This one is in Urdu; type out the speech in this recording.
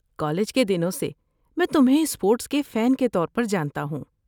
کالج کے دنوں سے، میں تمہیں اسپورٹس کے فین کے طور پر جانتا ہوں۔